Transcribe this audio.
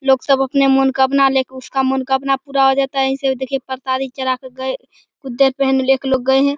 लोग सब अपने मनोकामना लेके उसका मनोकामना पूरा हो जाता है। परसादी चढ़ा के एक लोग गए एक लोग गए हैं।